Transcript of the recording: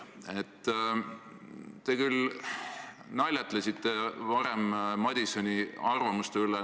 " Te naljatlesite varem Madisoni arvamusavalduse üle.